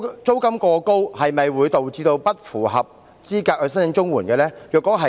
租金過高會否導致不符合申請綜援資格？